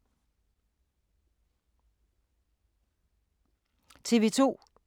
TV 2